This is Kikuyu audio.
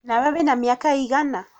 Na we wĩna mĩaka ĩigana?